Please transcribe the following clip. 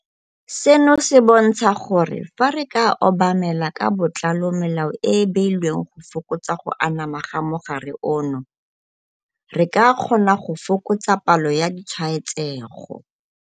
Seno se bontsha gore fa re ka obamela ka botlalo melao e e beilweng go fokotsa go anama ga mogare ono, re ka kgona go fokotsa palo ya ditshwaetsego.